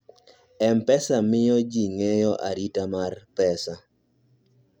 mpesa miyo ji ng'eyo arita mar pesa